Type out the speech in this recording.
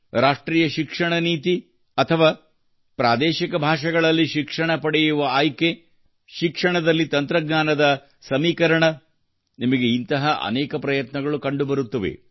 ರಾಷ್ಟ್ರೀಯ ಶಿಕ್ಷಣ ನೀತಿ ಅಥವಾ ಸ್ಥಳೀಯ ಭಾಷೆಗಳಲ್ಲಿ ಶಿಕ್ಷಣ ಪಡೆಯುವ ಆಯ್ಕೆ ಶಿಕ್ಷಣದಲ್ಲಿ ತಂತ್ರಜ್ಞಾನದ ಏಕೀಕರಣ ನಿಮಗೆ ಇಂತಹ ಅನೇಕ ಪ್ರಯತ್ನಗಳು ಕಂಡುಬರುತ್ತವೆ